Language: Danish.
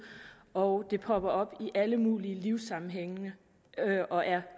og det popper op i alle mulige livssammenhænge og er